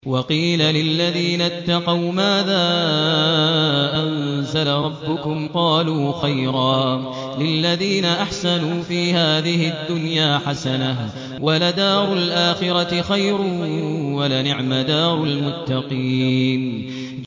۞ وَقِيلَ لِلَّذِينَ اتَّقَوْا مَاذَا أَنزَلَ رَبُّكُمْ ۚ قَالُوا خَيْرًا ۗ لِّلَّذِينَ أَحْسَنُوا فِي هَٰذِهِ الدُّنْيَا حَسَنَةٌ ۚ وَلَدَارُ الْآخِرَةِ خَيْرٌ ۚ وَلَنِعْمَ دَارُ الْمُتَّقِينَ